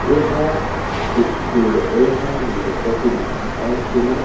ऐहा ऐहा गुलदस्ता के दुकान आए जेला--